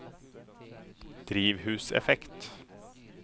drivhuseffekt